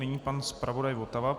Nyní pan zpravodaj Votava.